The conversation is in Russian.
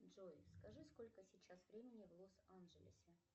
джой скажи сколько сейчас времени в лос анджелесе